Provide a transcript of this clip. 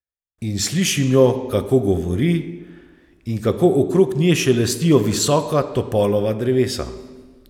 In slišim jo, kako govori in kako okrog nje šelestijo visoka topolova drevesa.